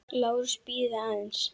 LÁRUS: Bíðið aðeins!